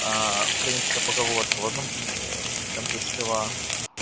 аа украинская поговорка в одном конце села